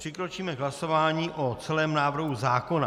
Přikročíme k hlasování o celém návrhu zákona.